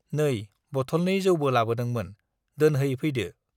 नै बथलनै जौबो लाबोदोंमोन दोनहै फैदो